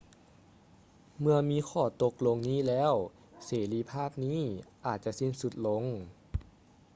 ເມື່ອມີຂໍ້ຕົກລົງນີ້ແລ້ວ ເສລີພາບນີ້ອາດຈະສິ້ນສຸດລົງ